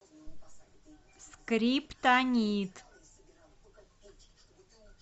скриптонит